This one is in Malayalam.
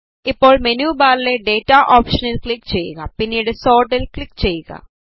ഇപ്പോൾ മെനു ബാറിലെ ഡേറ്റ ഓപ്ഷനിൽ ക്ലിക് ചെയ്യുക പിന്നീട് സോർട്ട്ൽ ക്ലിക് ചെയ്യുക